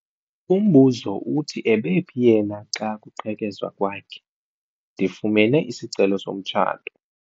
Umbuzo uthi ebephi yena xa kuqhekezwa kwakhe? ndifumene isicelo somtshato